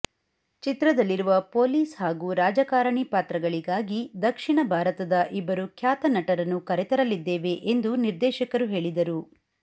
ಚಿತ್ರದಲ್ಲಿರುವ police ಹಾಗೂ ರಾಜಕಾರಣಿ ಪಾತ್ರಗಳಿಗಾಗಿ ದಕ್ಷಿಣ ಭಾರತದ ಇಬ್ಬರು ಖ್ಯಾತನಟರನ್ನು ಕರೆತರಲಿದ್ದೇವೆ ಎಂದು ನಿರ್ದೇಶಕರು ಹೇಳಿದರು